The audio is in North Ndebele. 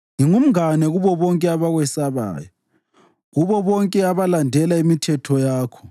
Ngingumngane kubo bonke abakwesabayo, kubo bonke abalandela imithetho yakho.